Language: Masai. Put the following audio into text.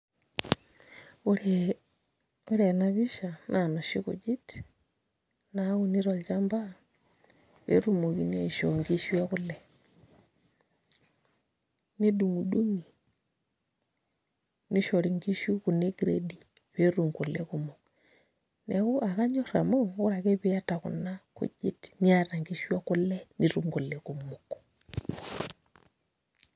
Ore ena pisha naa inoshi kujit naauni tolchamba pee etumokini aishoo nkishu ekule nedung'idung'i nishori nkishu kuna e gredi pee etum kule kumok, neeku akanyorr amu ore ake piiata kuna kujit niata nkishu ekule nitum kule kumok.